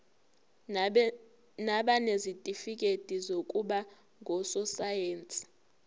nabanezitifikedi zokuba ngososayense